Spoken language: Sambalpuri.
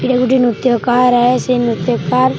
ଇଟା ଗୁଟେ ନୃତ୍ୟକାର ଏ ସେ ନୃତ୍ୟକାର --